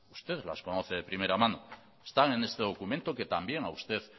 usted las conoce de primera mano están en este documento que también a usted